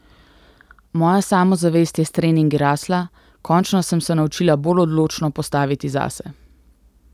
Moja samozavest je s treningi rasla, končno sem se naučila bolj odločno postaviti zase.